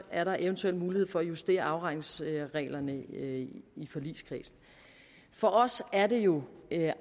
er der eventuelt mulighed for at justere afregningsreglerne i forligskredsen for os er det jo